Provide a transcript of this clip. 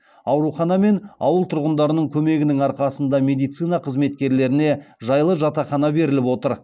аурхана мен ауыл тұрғындарының көмегінің арқасында медицина қызметкерлеріне жайлы жатақхана беріліп отыр